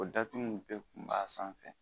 O datugu in bɛɛ kun b'a sanfɛ